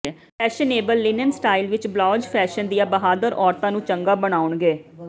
fashionable linen style ਵਿਚ blouse fashion ਦੀਆਂ ਬਹਾਦਰ ਔਰਤਾਂ ਨੂੰ ਚੰਗਾ ਬਨਾਉਣਗੇ